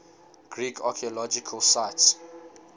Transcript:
greek archaeological sites